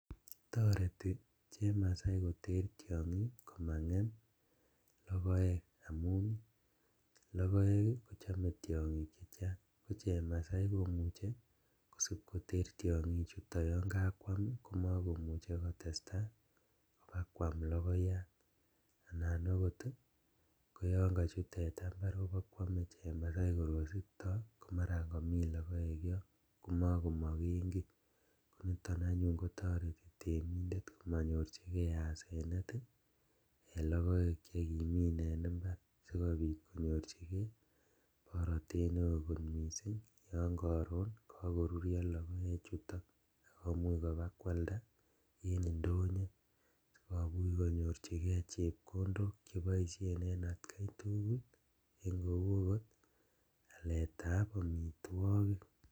Toreti chemasai tiongik komangem logoek amun logiek kochome tiongik chechang ko chemasai komuche kosipkoter tiongichuto yon kakwam komokomuche kotestaa kobakwam logoyat anan okot yon kochut teta imbar kobokwome chemasai korkosikto komaran komi logoek yon komokomoken kii , koniton anyun kotoreti temindet komonyorjigee asenet en logoek chekimin en imbar sikobit konyorjigee borotet neo kot misink yon koron kokorurio logoechuton akomuch kobakwalda en indonyo sikomuch konyorjigee chepkondok cheboisien en atkaitugul en kou okot aletab omitwogik.